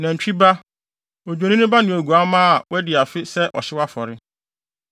nantwi ba, odwennini ne oguamma a wɔadi afe bae sɛ ɔhyew afɔre,